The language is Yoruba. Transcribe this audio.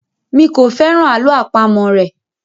mí kọ féràn àlọ́ àpamọ̀ rẹ.